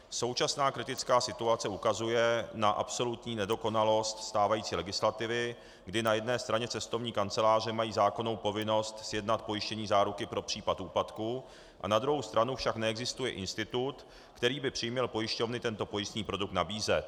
Současná kritická situace ukazuje na absolutní nedokonalost stávající legislativy, kdy na jedné straně cestovní kanceláře mají zákonnou povinnost sjednat pojištění záruky pro případ úpadku, a na druhou stranu však neexistuje institut, který by přiměl pojišťovny tento pojistný produkt nabízet.